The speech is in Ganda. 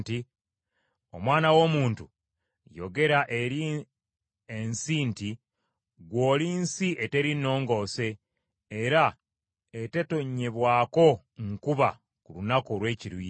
“Omwana w’omuntu, yogera eri ensi nti, ‘Ggwe oli nsi eteri nongoose, era etetonnyebwako nkuba ku lunaku olw’ekiruyi.’